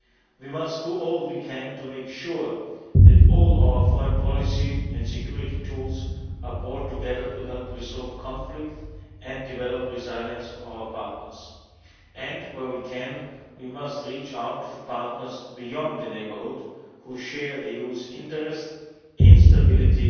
We must do all we can to make sure that all our foreign policy and security tools are brought together to help resolve conflict and develop the resilience of our partners. Where we can, we must reach out for partners beyond the neighbourhood who share the EU's interest in